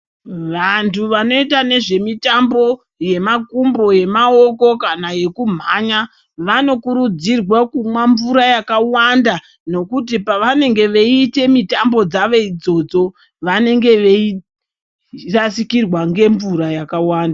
Vantu vanoita nezvemitambo yemakumbo, yemaoko kana yekumhanya vanokurudzirwa kumwa mvura yakawanda nokuti pavanenge veiite mitambo dzavo idzodzo vanenge veirasikirwa ngemvura yakawanda.